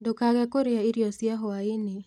Ndũkage kũrĩa irio cia hũaĩ-inĩ